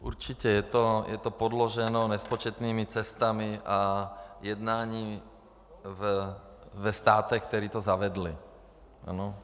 Určitě je to podloženo nespočetnými cestami a jednáním ve státech, které to zavedly.